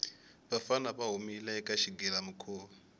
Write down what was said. vafana va humile eka xigilamikhuva